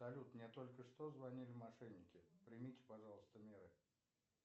салют мне только что звонили мошенники примите пожалуйста меры